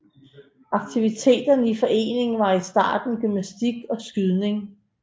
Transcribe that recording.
Aktiviteterne i foreningen var i starten gymnastik og skydning